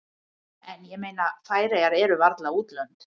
En ég meina Færeyjar eru varla útlönd.